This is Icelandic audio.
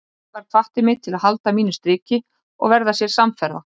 Sævar hvatti mig til að halda mínu striki og verða sér samferða.